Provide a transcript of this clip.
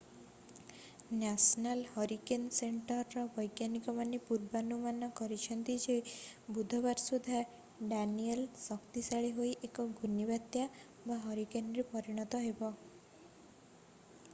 National hurricane ସେଣ୍ଟରର ବୈଜ୍ଞାନିକମାନେ ପୂର୍ବାନୁମାନ କରିଛନ୍ତି ଯେ ବୁଧବାର ସୁଦ୍ଧା ଡାନିଏଲ୍ ଶକ୍ତିଶାଳୀ ହୋଇ ଏକ ଘୂର୍ଣ୍ଣିବାତ୍ୟା ହରିକେନ୍ରେ ପରିଣତ ହେବ।